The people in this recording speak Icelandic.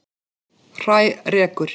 Hrærekur